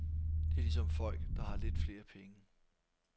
Det er ligesom folk, der har lidt flere penge.